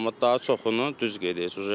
Amma daha çoxunu düz qeyd edirsiz.